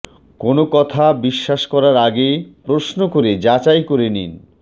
কোনও কথা বিশ্বাস করার আগে প্রশ্ন করে যাচাই করে নিন